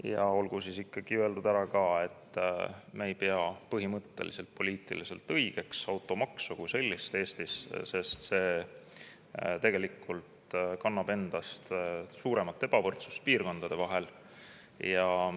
Ja olgu siis ikkagi öeldud ära, et me ei pea ka automaksu kui sellist Eestis poliitiliselt õigeks, sest see tegelikult suurema ebavõrdsuse piirkondade vahel.